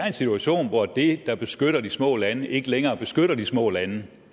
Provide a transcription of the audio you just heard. en situation hvor det der beskytter de små lande ikke længere beskytter de små lande